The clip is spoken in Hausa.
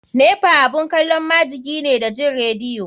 Nepa abun kalon majiki ne da jin radio.